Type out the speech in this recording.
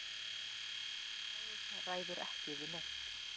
Og Herra Kláus ræður ekki við neitt.